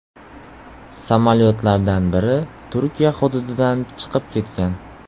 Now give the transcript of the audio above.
Samolyotlardan biri Turkiya hududidan chiqib ketgan.